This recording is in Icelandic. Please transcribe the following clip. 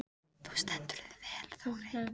Þú stendur þig vel, Þórey!